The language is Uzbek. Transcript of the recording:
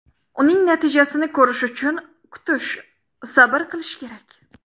Uning natijasini ko‘rish uchun kutish, sabr qilish kerak.